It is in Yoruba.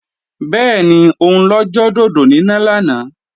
Bẹ́ẹ̀ni, òun lọ jọ dòdò níná lánàá